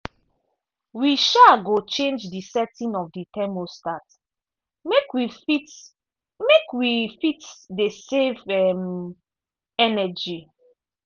we um go change di setting of di thermostat make we fit make we fit dey save um energy.